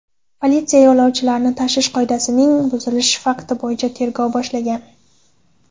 Politsiya yo‘lovchilarni tashish qoidasining buzilishi fakti bo‘yicha tergov boshlagan.